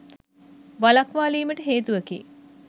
වළක්වාලීමට හේතුවකි.